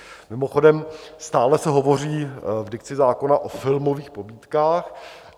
Mimochodem, stále se hovoří v dikci zákona o filmových pobídkách.